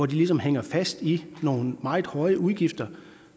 de ligesom hænger fast i nogle meget høje udgifter